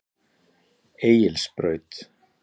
Egilsbraut